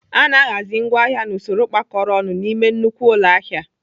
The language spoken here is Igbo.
Ana ahazi ngwaahịa n'usoro kpakọrọ ọnụ n'ime nnukwu ụlọ ahịa.